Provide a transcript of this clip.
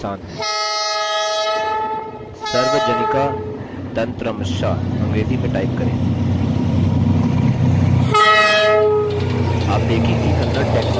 sarvajanika tantramsha अंग्रेजी में type करें